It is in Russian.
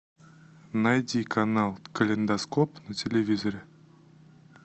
найди канал калейдоскоп на телевизоре